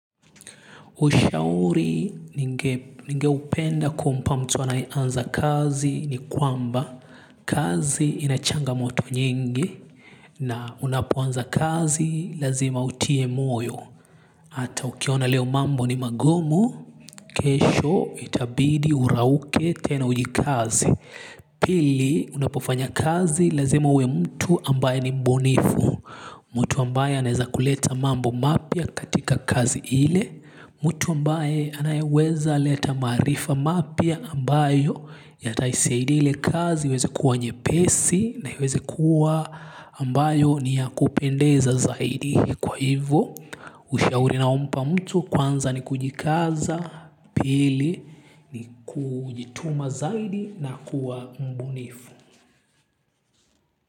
Ushauri ningeupenda kumpa mtu anayeanza kazi ni kwamba kazi ina changamoto nyingi na unapoanza kazi lazima utie moyo. Hata ukiona leo mambo ni magumu, kesho itabidi urauke tena ujikaze. Pili unapofanya kazi lazima uwe mtu ambaye ni mbunifu. Mtu ambaye anaweza kuleta mambo mapya katika kazi ile. Mtu ambaye anayeweza leta maarifa mapya ambayo yataisaidia ile kazi iweze kuwa nyepesi na iweze kuwa ambayo ni yakupendeza zaidi kwa hivyo. Ushauri ninaompa mtu kwanza ni kujikaza. Pili ni kujituma zaidi na kuwa mbunifu.